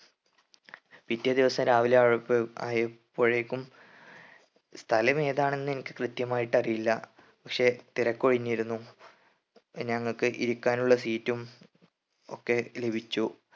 പിറ്റേ ദിവസം രാവിലെ ആയ പ്പെ ആയപ്പോഴേക്കും സ്ഥലം ഏതാണെന്ന് എനിക്ക് കൃത്യമായിട്ട് അറിയില്ല പക്ഷെ തിരക്ക് ഒഴിഞ്ഞിരുന്നു ഞങ്ങക്ക് ഇരിക്കാനുള്ള seat ഉം ഒക്കെ ലഭിച്ചു